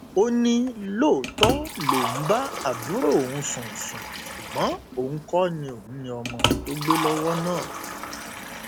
ó ní lóòótọ lòun ń bá àbúrò òun sùn sùn ṣùgbọn òun kò ní òun ní ọmọ tó gbé lọwọ náà